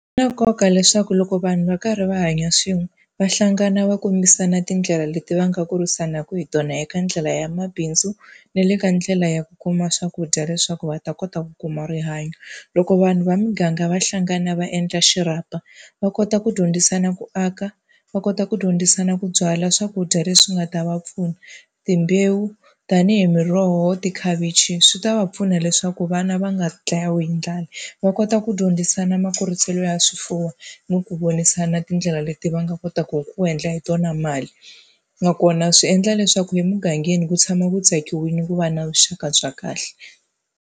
Swi na nkoka leswaku loko vanhu va karhi va hanya swin'we va hlangana va kombisana tindlela leti va nga kurisanaka hi tona eka ndlela ya mabindzu, na le ka ndlela ya ku kuma swakudya leswaku va ta kota ku kuma rihanyo. Loko vanhu va muganga va hlangana va endla xirhapa, va kota ku dyondzisana ku aka, va kota ku dyondzisana ku byala swakudya leswi nga ta va pfuna, timbewu tanihi miroho, tikhavichi swi ta va pfuna leswaku vana va nga ndlayiwi hi ndlala. Va kota ku dyondzisana makuriselo ya swifuwo ni ku vonisana tindlela leti va nga kotaka ku endla hi tona mali, nakona swi endla leswaku emugangeni ku tshama ku tsakiwile ku va na vuxaka bya kahle.